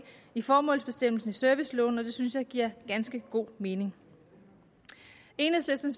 i formålsbestemmelsen i serviceloven og det synes jeg giver ganske god mening enhedslisten